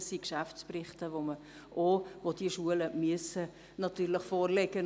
Das sind Geschäftsberichte, und die Schulen sind verpflichtet, diese vorzulegen.